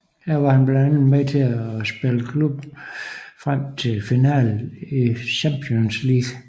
Her var han blandt andet med til at spille klubben frem til finalen i Champions League